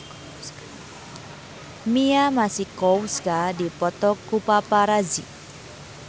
Mia Masikowska dipoto ku paparazi